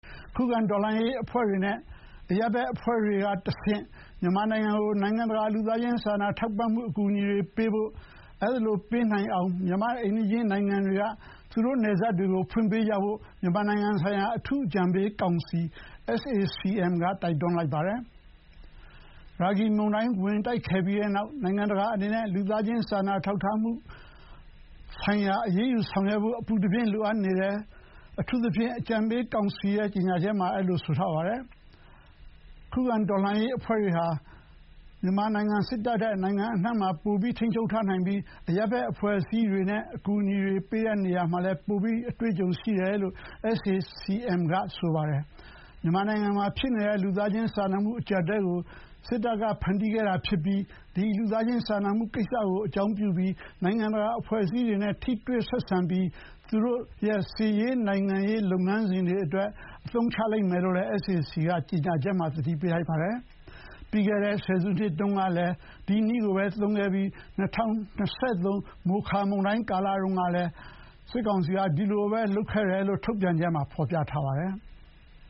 ခုခံတော်လှန်ရေးအဖွဲ့တွေ နဲ့ အရပ်ဘက်အဖွဲ့တွေကတဆင့် မြန်မာနိုင်ငံကို နိုင်ငံတကာ လူသားချင်းစာနာထောက်ထားမှုအကူအညီတွေပေးဖို့နဲ့ အဲဒီလိုပေးနိုင်အောင် မြန်မာရဲ့ အိမ်နီးချင်းနိုင်ငံတွေက သူတို့ နယ်စပ်တွေကိုဖွင့်ပေးကြဖို့မြန်မာနိုင်ငံဆိုင်ရာ အထူး အကြံပေးကောင်စီ SAC-M က တိုက်တွန်းလိုက်ပါတယ်။ ရာဂီမုန်တိုင်းဝင်ခဲ့ပြီးတဲ့နောက် နိုင်ငံတကာအနေနဲ့ လူသားချင်း စာနာထောက်ထားမှုဆိုင်ရာ အရေးယူဆောင်ရွက်ဖို့အပူတပြင်း လိုအပ်နေတယ်လို့ အထူးအကြံပေးကောင်စီက ကြေညာချက်ထုတ်ပြန်ပါတယ်။ ခုခံတော်လှန်ရေးအဖွဲ့တွေဟာ စစ်တပ်ထက် နိုင်ငံအနှံ့မှာ ပို ထိန်းချုပ်ထားနိုင်ပြီး အရပ်ဘက်အဖွဲ့အစည်းတွေနဲ့ အကူအညီတွေပေးရာမှာ ပိုပြီးလည်း အတွေ့အကြုံရှိတယ်လို့ SAC-M က ဆိုပါတယ်။ မြန်မာနိုင်ငံမှာဖြစ်နေတဲ့ လူသားချင်းစာနာမှုအကျပ်အတည်းကိုစစ်တပ်ကဖန်တီးခဲ့တာဖြစ်ပြီး ဒီ လူသားချင်းစာနာမှုကိစ္စကို အကြောင်းပြုလို့ နိုင်ငံတကာအဖွဲ့အစည်းတွေနဲ့ ထိတွေ့ဆက်ဆံပြီး သူတို့ရဲ့ စစ်ရေး၊ နိုင်ငံရေးလုပ်ငန်းစဥ်တွေအတွက် အသုံးချလိမ့်မယ်လို့လည်း SAC-M က ကျေညာချက်မှာသတိပေးလိုက်ပါတယ်။ ပြီးခဲ့တဲ့ဆယ်စုတုန်းကလည်း ဒီနည်းကိုသုံးခဲ့ပြီး ၂၀၂၃ မိုခါ မုန်တိုင်းတုန်းကလည်း ဒီလိုပဲလုပ်ခဲ့တယ်လို့ ထုတ်ပြန်ချက်မှာဖော်ပြထားပါတယ်။